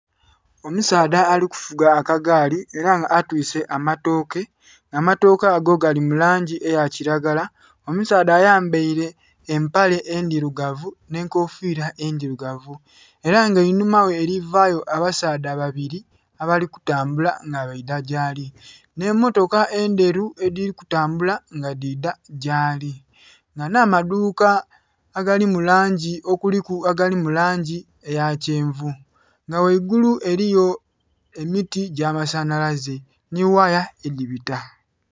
Omusaadha ali kuvuga akagaali ela nga atwise amatooke, amatooke ago gali mu langi eya kilagala, omusaadha ayambaile empale endhirugavu nh'enkofiira endhirugavu era nga einhuma ghe elivayo abasaadha babili abali kutambula nga baidha gyaali, nh'emmotoka endheru edhiri kutambula nga dhidha gyaali. Nga nh'amaduuka agali mu langi okuliku agali mu langi eya kyenvu nga ghaigulu eliyo emiti gy'amasanhalaze nhi waya edhibita.